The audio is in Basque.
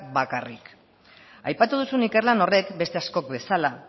bakarrik aipatu duzun ikerlan horrek beste askok bezala